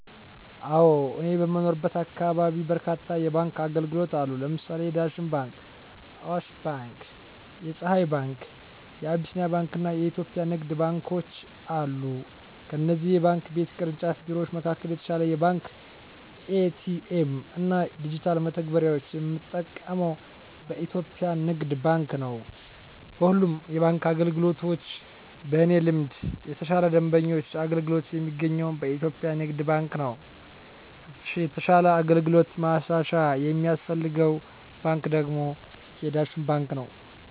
አወ እኔ በምኖርበት አካባቢ በርካታ የባንክ አገልግሎት አሉ ለምሳሌ የዳሽን ባንክ :አዋሽ ባንክ :የፀሀይ ባንክ : የአቢሲኒያ ባንክ አና የኢትዮጵያ ንግድ ባንኮች አሉ ከእነዚህ የባንክ ቤት ቅርንጫፍ ቢሮወች መካከል የተሻለ የባንክ ኤ.ቲ.ኤ.ም እና ዲጅታል መተግበሪያወችን የምጠቀመው በኢትዮጵያ የንግድ ባንክ ነው። በሁሉም የባንክ አገልግሎቶች በእኔ ልምድ የተሻለ የደንበኞች አገልግሎት የሚገኘው በኢትዮጵያ ንግድ ባንክ ነው የተሻለ አገልግሎት ማሻሻያ የሚያስፈልገው ባንክ ደግሞ የዳሽን ባንክ ነው።